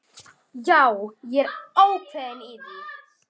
Já, ég er ákveðinn í því.